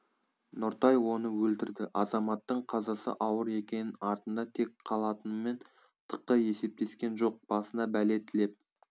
нұртай оны өлтірді азаматтың қазасы ауыр екенін артында кек қалатынымен тықы есептескен жоқ басына бәле тілеп